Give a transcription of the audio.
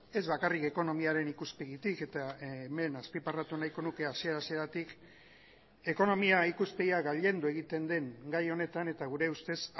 ez bakarrik ekonomiaren ikuspegitik eta hemen azpimarratu nahiko nuke hasiera hasieratik ekonomia ikuspegia gailendu egiten den gai honetan eta gure ustez